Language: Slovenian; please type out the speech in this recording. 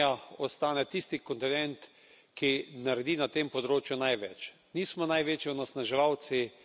Vesel sem, da Evropska unija ostane tisti kontinent, ki naredi na tem področju največ.